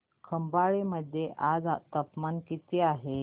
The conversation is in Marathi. खंबाळे मध्ये आज तापमान किती आहे